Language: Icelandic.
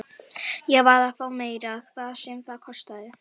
Ég varð að fá meira, hvað sem það kostaði.